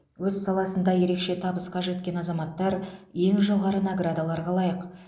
өз саласында ерекше табысқа жеткен азаматтар ең жоғары наградаларға лайық